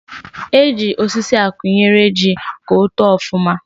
E ji osisi akwụnyere ji ka o too ọfụma